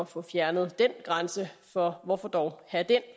få fjernet den grænse for hvorfor dog have den